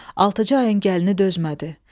Altıcı ayın gəlinə dözmədi.